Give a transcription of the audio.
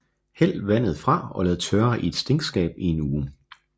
Hæld vandet fra og lad tørre i et stinkskab i en uge